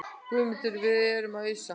GUÐMUNDUR: Við erum að ausa.